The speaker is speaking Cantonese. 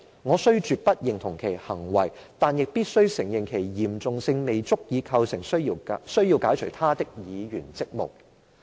我雖絕不認同其行為，但亦必須承認其嚴重性未足以構成需要解除他的議員職務。